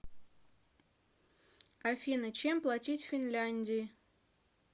афина чем платить в финляндии